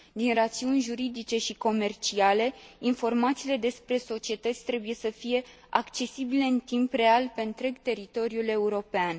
Din rațiuni juridice și comerciale, informațiile despre societăți trebuie să fie accesibile în timp real, pe întreg teritoriul european.